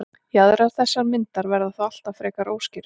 Jaðrar þessarar myndar verða þó alltaf frekar óskýrir.